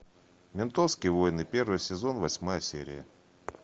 ментовские войны первый сезон восьмая серия